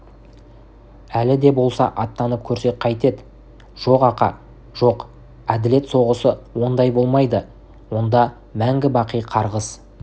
әлі де болса аттанып көрсек қайтед жоқ ақа жоқ әділет соғысы ондай болмайды онда мәңгі-бақи қарғыс